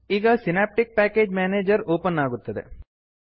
ಈಗ Synaptic package manager open ಆಗುತ್ತದೆ